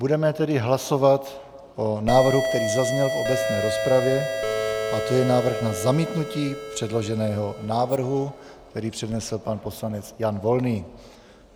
Budeme tedy hlasovat o návrhu, který zazněl v obecné rozpravě, a to je návrh na zamítnutí předloženého návrhu, který přednesl pan poslanec Jan Volný.